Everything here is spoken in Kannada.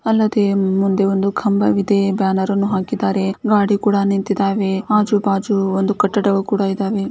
ಅದಲ್ಲದೆ ಮುಂದೆ ಒಂದು ಕಂಬವಿದೆ ಬ್ಯಾನರ್ ಅನ್ನು ಹಾಕಿದ್ದಾರೆ ಗಾಡಿ ಕೂಡ ನಿಂತಿದವೆ ಆಜು ಬಾಜು ಒಂದು ಕಟ್ಟಡಗಳು ಕೂಡ ಇದಾವೆ.